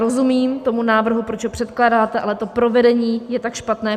Rozumím tomu návrhu, proč ho předkládáte, ale to provedení je tak špatné.